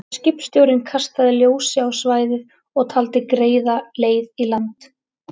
Skipstjórinn kastaði ljósi á svæðið og taldi greiða leið í land.